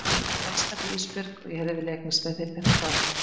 Ég elska þig Ísbjörg og ég hefði viljað eignast með þér þetta barn.